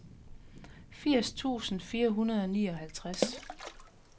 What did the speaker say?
firs tusind fire hundrede og nioghalvtreds